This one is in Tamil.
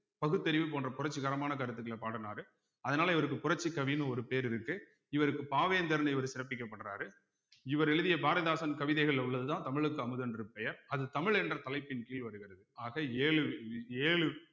பகுத்தறிவு போன்ற புரட்சிகரமான கருத்துக்கள பாடுனாரு அதனால இவருக்கு புரட்சிக்கவின்னு ஒரு பேர் இருக்கு இவருக்கு பாவேந்தர்ன்னு இவரு சிறப்பிக்கப்படுறாரு இவர் எழுதிய பாரதிதாசன் கவிதைகள்ல உள்ளதுதான் தமிழுக்கு அமுதென்று பெயர் அது தமிழ் என்ற தலைப்பின் கீழ் வருகிறது ஆக ஏழு ஏழு